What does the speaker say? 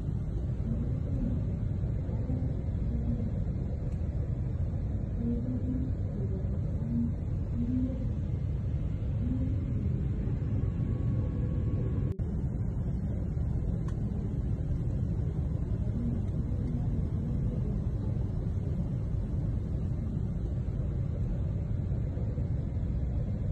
Eng kokwet nyu, mbaret age tugul keboti. Che echen keboti eng tingok, che mengechen no ibotinigei eng kurgat iboisie kityo jembeit neng'ug iboti ko mutyo. Lakini eng tugul mbaresiek ko echen sasa keboti ak tingoshek.